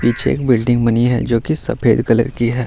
पीछे बिल्डिंग बनी है जो की सफ़ेद कलर की है।